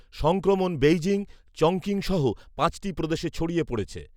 সংক্রমণ Beijing, Chongqing সহ পাঁচটি প্রদেশে ছড়িয়ে পড়েছে